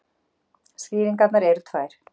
Skýringarnar eru tvær.